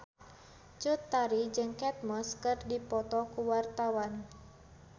Cut Tari jeung Kate Moss keur dipoto ku wartawan